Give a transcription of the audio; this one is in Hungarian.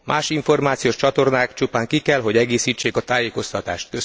Más információs csatornák csupán ki kell, hogy egészítsék a tájékoztatást.